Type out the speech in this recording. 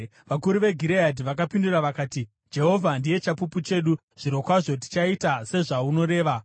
Vakuru veGireadhi vakapindura vakati, “Jehovha ndiye chapupu chedu; zvirokwazvo tichaita sezvaunoreva.”